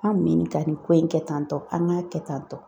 An mɛn nin ka nin ko in kɛ tantɔ an k'a kɛ tan tɔ.